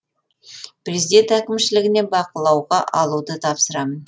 президент әкімшілігіне бақылауға алуды тапсырамын